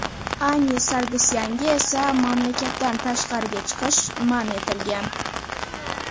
Ani Sargsyanga esa mamlakatdan tashqariga chiqish man etilgan.